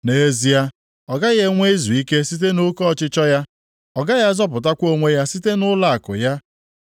“Nʼezie, ọ gaghị enwe izuike site nʼoke ọchịchọ ya; ọ gaghị azọpụtakwa onwe ya site nʼụlọakụ ya.